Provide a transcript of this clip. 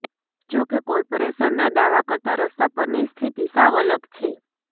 જોકે કોર્પોરેશનના દાવા કરતા રસ્તા પરની સ્થિતિ સાવ અલગ છે